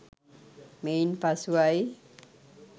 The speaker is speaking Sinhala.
මෙයින් පසුවයි.